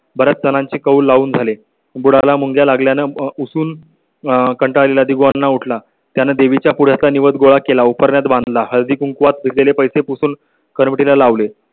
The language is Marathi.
बर् याच जणांची कौल लावून झाले. बुडा ला मुंग्या लागल्या नं उसळून. कंटाळवाणा उठ ला. त्याने देवीच्या पुढचा दिवस गोळा केला. उपरण्यात बांधला हळदीकुंकवात दिलेले पैसे पुसून कमिटी ला लावले